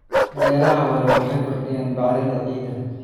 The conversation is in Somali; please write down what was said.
Beeraha waara waxay kordhiyaan bacrinta ciidda.